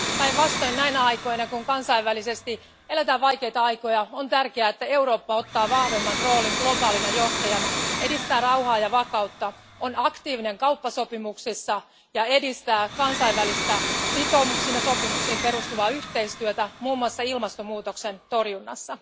Päinvastoin näinä aikoina, kun kansainvälisesti eletään vaikeita aikoja, on tärkeää, että Eurooppa ottaa vahvemman roolin globaalina johtajana, edistää rauhaa ja vakautta, on aktiivinen kauppasopimuksissa ja edistää kansainvälistä sitoumuksiin ja sopimuksiin perustuvaa yhteistyötä, muun muassa ilmastonmuutoksen torjunnassa.